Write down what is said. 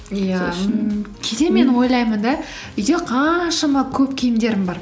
иә кейде мен ойлаймын да үйде қаншама көп киімдерім бар